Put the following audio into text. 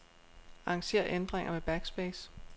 Arranger ændringer med backspace.